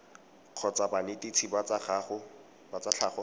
kgotsa banetetshi ba tsa tlhago